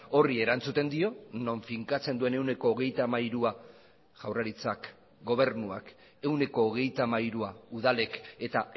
horri erantzuten dio non finkatzen duen ehuneko hogeita hamairua jaurlaritzak gobernuak ehuneko hogeita hamairua udalek eta